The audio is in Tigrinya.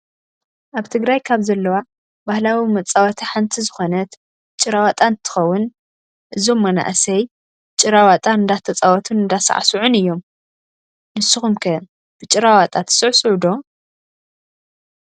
ኣብ ትግራይ ካብ ዘለዋ ባህላዊ መፃወቲ ሓንቲ ዝኮነት ጭራ ዋጣ እንትከውን እዞም መናእሰይ ጭራ ዋጣ እንዳተፃወቱን እንዳሳዕስዑን እዮም። ንስኩም ከ ብጭራ ዋጣ ትስዕስዑ ዶ?